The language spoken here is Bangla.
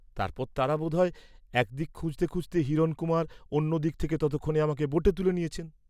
তারপর তারা বোধ হয় এক দিকে খুঁজতে খুঁজতে হিরণকুমার অন্য দিক থেকে ততক্ষণে আমাকে বোটে তুলে নিয়েছেন।